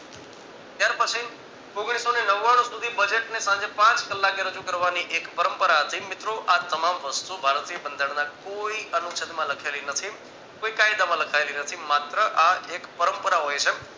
અને પછી ઓગણીસો ને નવાણું સુધી budget ને સાંજે પાંચ કલાકે રજુ કરવાની એક પરંપરા હતી મિત્રો આ તમામ વસ્તુ ભારતીય બનાધારણના કોઈ અનુસદમાં લખેલી નથી કોઈ કાયદમાં લખાયેલી નથી માત્ર આ એક પરંપરા હોય છે